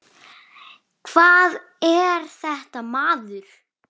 Hvað er þetta, maður?